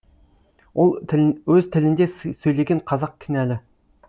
өз тілінде сөйлеген қазақ кінәлі